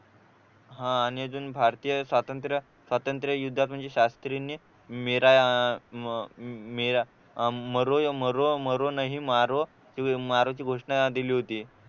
हा आणि अजून भारतीय स्वातंत्र्य स्वातंत्र्य युद्धात म्हणजे शास्त्रींनी मीरा मरूनही मारो मारो ची घोषणा दिली होती